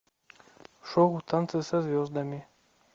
шоу танцы со звездами